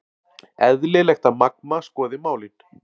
Eðlilegt að Magma skoði málin